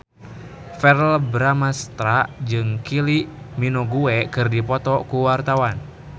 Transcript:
Verrell Bramastra jeung Kylie Minogue keur dipoto ku wartawan